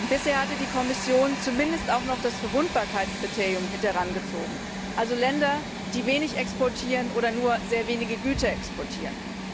Bisher hatte die Kommission zumindest auch noch das Verwundbarkeitskriterium mit herangezogen, also Länder, die wenig exportieren oder nur sehr wenige Güter exportieren.